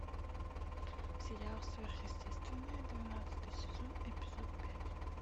сериал сверхъестественное двенадцатый сезон эпизод пять